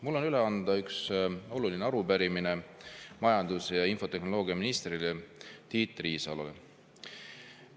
Mul on üle anda üks oluline arupärimine majandus‑ ja infotehnoloogiaminister Tiit Riisalole.